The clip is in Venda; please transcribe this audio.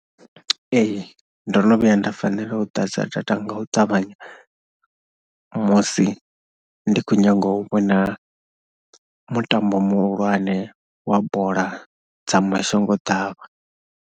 Ee ndo no vhuya nda fanela u ḓadza data nga u ṱavhanya musi ndi khou nyaga u vho na mutambo muhulwane wa bola dza mashangoḓavha.